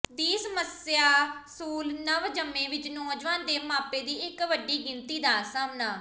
ਦੀ ਸਮੱਸਿਆ ਸੂਲ ਨਵਜੰਮੇ ਵਿਚ ਨੌਜਵਾਨ ਦੇ ਮਾਪੇ ਦੀ ਇੱਕ ਵੱਡੀ ਗਿਣਤੀ ਦਾ ਸਾਹਮਣਾ